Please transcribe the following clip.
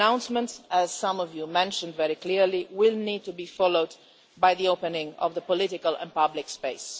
But the announcement, as some of you mentioned very clearly, will need to be followed by an opening of political and public space.